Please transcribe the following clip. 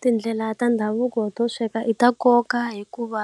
Tindlela ta ndhavuko to sweka i ta nkoka hikuva